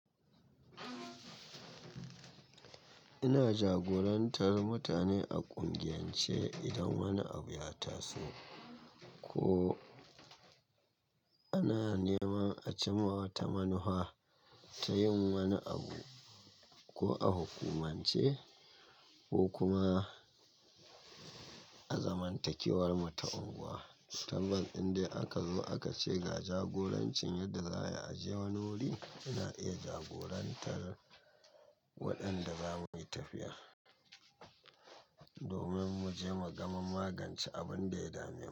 Ina jagorantar mutane a ƙungiyance idan wani abu ya taso ko ana neman a ce ma wata manuhwa ta yin wani abu ko a hukumance ko kuma a zamantakewar mu ta unguwa. Tabbas indai aka zo aka ce ga jagorancin yadda za a je wani wuri, ina iya jagorantar waɗanda za mu yi tafiya domin mu je mu gama magance abin da ya dame mu.